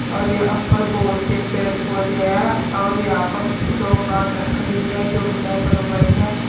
और यहां पर बहोत से पेड़ पौधे हैं और यहां पर दो कार खड़ी है जो ब्लैक और व्हाइट हैं।